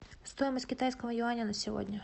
стоимость китайского юаня на сегодня